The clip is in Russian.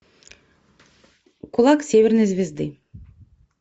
кулак северной звезды